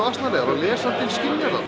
asnalegar og lesandinn skynjar það